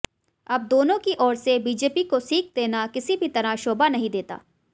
अब दोनों की ओर से बीजेपी को सीख देना किसी भी तरह शोभा नहीं देता